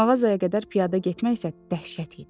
Mağazaya qədər piyada getmək isə dəhşət idi.